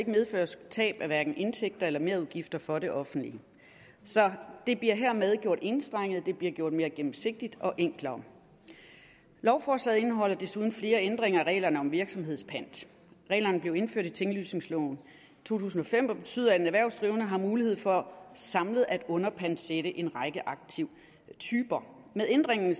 medføre tab af indtægter eller merudgifter for det offentlige så det bliver hermed gjort enstrenget det bliver gjort mere gennemsigtigt og enklere lovforslaget indeholder desuden flere ændringer af reglerne om virksomhedspant reglerne blev indført i tinglysningsloven i to tusind og fem og betyder at en erhvervsdrivende har mulighed for samlet at underpantsætte en række aktivtyper med ændringen